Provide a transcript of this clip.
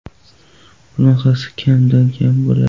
Bunaqasi kamdan kam bo‘ladi.